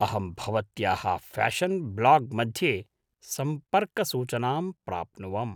अहं भवत्याः fashion blog मध्ये सम्पर्कसूचनां प्राप्नुवम्।